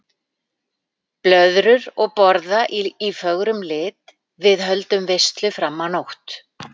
Blöðrur og borða í fögrum lit, við höldum veislu fram á nótt.